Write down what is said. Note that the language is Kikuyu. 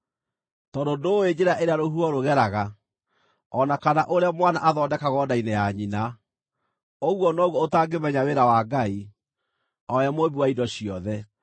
Tondũ ndũũĩ njĩra ĩrĩa rũhuho rũgeraga, o na kana ũrĩa mwana athondekagwo nda-inĩ ya nyina, ũguo noguo ũtangĩmenya wĩra wa Ngai, o we Mũũmbi wa indo ciothe.